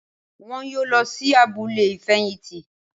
Wọn yóò lọ sí abúlé ìfẹ̀yìntì